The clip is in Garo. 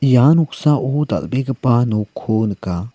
ia noksao dal·begipa nokko nika.